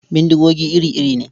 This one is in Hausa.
Bindigogi iri-iri ne.